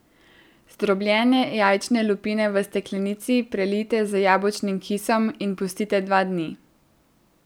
Zdrobljene jajčne lupine v steklenici prelijte z jabolčnim kisom in pustite dva dni.